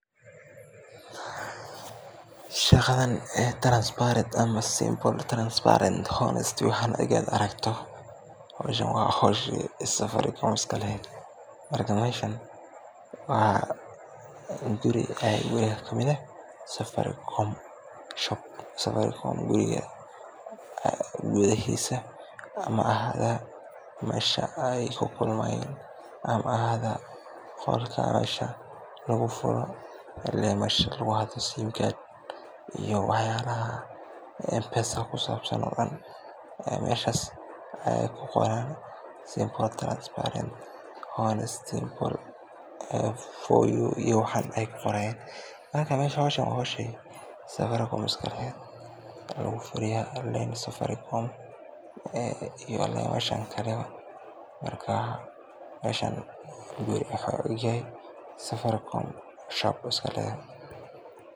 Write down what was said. Shaqadan transparent waxaan markaad aragto howshan waa howshi Safaricom iska leheed, marka meeshan waa guri kamid ah guryaha Safaricom, gudahiisa ama ha ahaada meesha aay ku kulmaan ama ha ahaada qolka simka lagu furaaya, meelahaas ayeey ku qoran, marka meeshan howshaas ayaa lagu fuliyaa, marka meeshan guriga Safaricom waye.